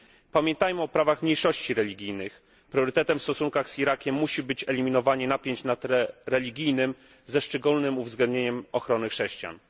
Pamiętajmy o prawach mniejszości religijnych! Priorytetem w stosunkach z Irakiem musi być eliminowanie napięć na tle religijnym, ze szczególnym uwzględnieniem ochrony chrześcijan.